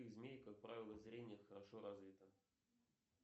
у змей как правило зрение хорошо развито